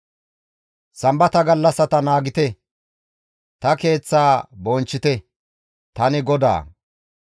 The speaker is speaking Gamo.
« ‹Sambata gallassata naagite; ta keeththaa bonchchite; tani GODAA.